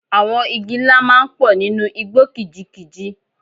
Àwọn igi ńlá máa ń pọ̀ nínú igbó kìjikìji.